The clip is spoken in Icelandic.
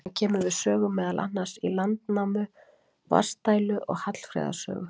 Hann kemur við sögu meðal annars í Landnámu, Vatnsdælu og Hallfreðar sögu.